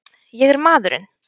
Ég er maðurinn!